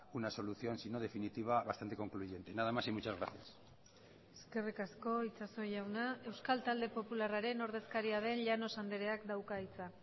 una solución si no definitiva bastante concluyente nada más y muchas gracias eskerrik asko itxaso jauna euskal talde popularraren ordezkaria den llanos andreak dauka hitza